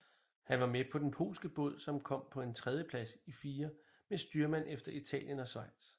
Han var med på den polske båd som kom på en tredjeplads i firer med styrmand efter Italien og Schweiz